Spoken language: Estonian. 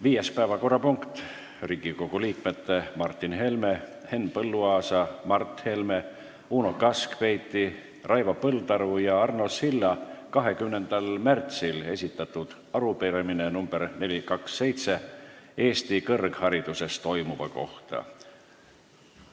Viies päevakorrapunkt on Riigikogu liikmete Martin Helme, Henn Põlluaasa, Mart Helme, Uno Kaskpeiti, Raivo Põldaru ja Arno Silla 20. märtsil esitatud arupärimine Eesti kõrghariduses toimuva kohta.